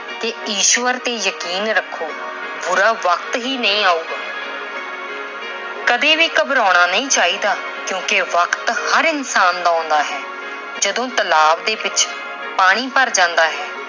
ਕਿ ਈਸ਼ਵਰ ਤੇ ਯਕੀਨ ਰੱਖੋ, ਬੁਰਾ ਵਕਤ ਹੀ ਨਹੀਂ ਆਉਗਾ। ਕਦੇ ਵੀ ਘਬਰਾਉਣਾ ਨਹੀਂ ਚਾਹੀਦਾ ਕਿਉਂਕਿ ਵਕਤ ਹਰ ਇਨਸਾਨ ਦਾ ਆਉਂਦਾ ਹੈ। ਜਦੋਂ ਤਲਾਬ ਵਿੱਚ ਪਾਣੀ ਭਰ ਜਾਂਦਾ ਹੈ